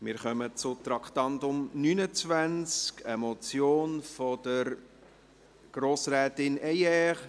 Wir kommen zum Traktandum 29, einer Motion von Grossrätin Heyer: